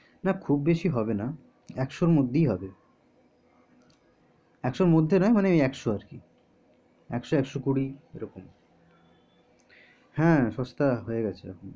না খুব বেশি হবেনা একশোর মধ্যেই হবে একশোর মধ্যে নয় মানে ওই একশোর কি একশো একশো কুড়ি এরকম হ্যা সস্তা হয়ে গেছে এখন